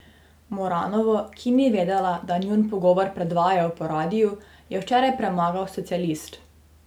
Moranovo, ki ni vedela, da njun pogovor predvajajo po radiu, je včeraj premagal socialist.